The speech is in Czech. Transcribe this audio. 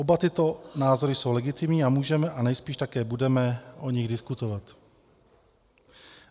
Oba tyto názory jsou legitimní a můžeme a nejspíš také budeme o nich diskutovat.